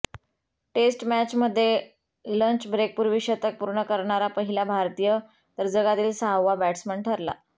taste मॅचमध्ये lunch ब्रेकपूर्वी शतक पूर्ण करणारा पहिला भारतीय तर जगातील सहावा बॅट्समन ठरला